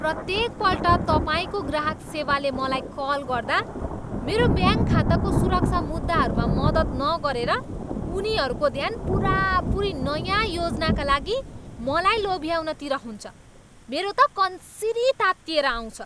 प्रत्येकपल्ट तपाईँको ग्राहक सेवाले मलाई कल गर्दा मेरो ब्याङ्क खाताको सुरक्षा मुद्दाहरूमा मद्दत नगरेर उनीहरूको ध्यान पुरापुरी नयाँ योजनाका लागि मलाई लोभ्याउनतिर हुन्छ। मेरो त कन्सिरी तात्तिएर आउँछ।